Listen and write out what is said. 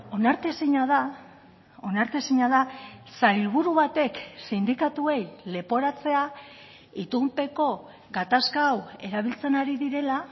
onartezina da onartezina da sailburu batek sindikatuei leporatzea itunpeko gatazka hau erabiltzen ari direla